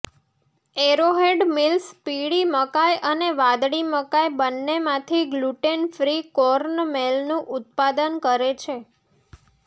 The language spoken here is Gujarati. એરોહેડ મિલ્સ પીળી મકાઈ અને વાદળી મકાઈ બંનેમાંથી ગ્લુટેન ફ્રી કોર્નમેલનું ઉત્પાદન કરે છે